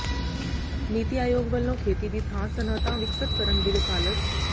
ਨੀਤੀ ਆਯੋਗ ਵੱਲੋਂ ਖੇਤੀ ਦੀ ਥਾਂ ਸਨਅਤਾਂ ਵਿਕਸਤ ਕਰਨ ਦੀ ਵਕਾਲਤ